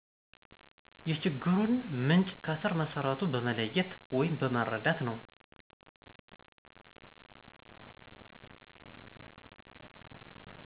የችግሩን ምንጭ ከስረ መሠረቱ በመለየት ወይም በመረዳት ነው።